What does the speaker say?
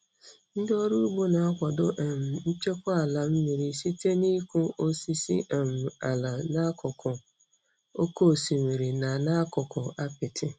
Ndị ọrụ ugbo na-akwado um nchekwa ala mmiri site n'ịkụ osisi um ala n'akụkụ oke osimiri na n'akụkụ apiti.